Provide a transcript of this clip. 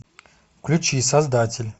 включи создатель